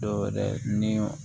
Dɔwɛrɛ ni